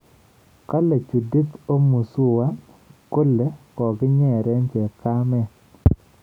Kale Judith Omuzuwa kole kokinyeree chepkamet